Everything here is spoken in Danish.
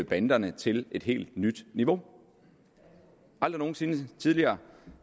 banderne til et helt nyt niveau aldrig nogen sinde tidligere